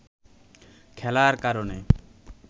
খেলার কারণে